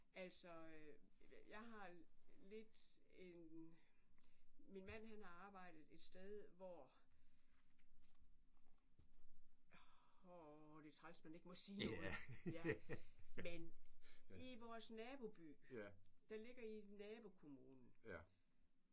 Altså jeg har lidt en min mand han har arbejdet et sted hvor det træls man ikke må sige noget ja men i vores naboby der ligger i nabokommunen